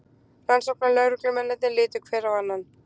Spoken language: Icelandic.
Rannsóknarlögreglumennirnir litu hver á annan.